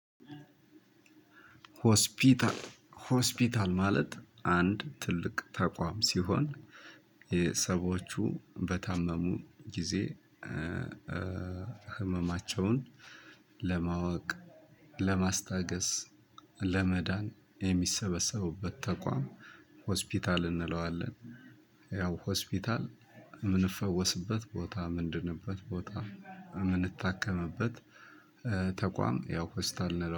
ሆስፒታል ሆስፒታል ማለት አንድ ትልቅ ተቋም ሲሆን የሰዎቹ በታመሙ ጊዜ ህመማቸውን ለማወቅ፣ ለማስታገስ፣ ለመዳን የሚሰበሰቡበት ተቋም ሆስፒታል እንለዋለን። ያው ሆስፒታል የምንፈወስበት ቦታ ምንድንበት ቦታ የምንታከምበት ተቋም ያው ሆስፒታል እንለዋለን።